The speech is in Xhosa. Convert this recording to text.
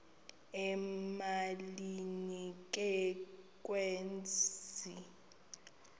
emalini ke kwezi